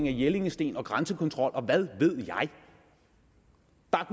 af jellingstenen grænsekontrol og hvad ved